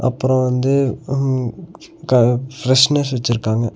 அப்றோ வந்து ம் க ஃபிரஸ்னர்ஸ் வச்சிருக்காங்க.